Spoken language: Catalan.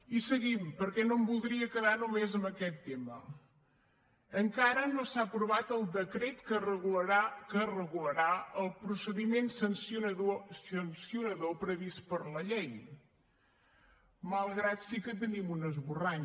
i seguim perquè no em voldria quedar només en aquest tema encara no s’ha aprovat el decret que regularà el procediment sancionador previst per la llei malgrat sí que tenim un esborrany